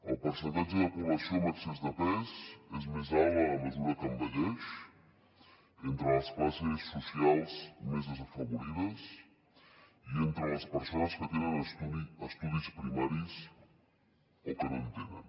el percentatge de població amb excés de pes és més alt a mesura que envelleix entre les classes socials més desafavorides i entre les persones que tenen estudis primaris o que no en tenen